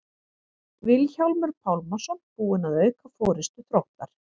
Vilhjálmur Pálmason búinn að auka forystu Þróttar.